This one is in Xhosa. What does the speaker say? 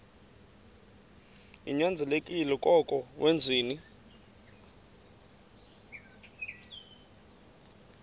ninyanzelekile koko wenzeni